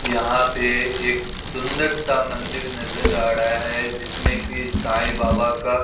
यहां पे एक सुंदर सा मंदिर नजर आ रहा है जिसमें की साईं बाबा का--